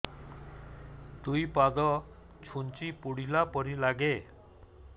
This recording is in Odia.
ଦୁଇ ପାଦ ଛୁଞ୍ଚି ଫୁଡିଲା ପରି ଲାଗେ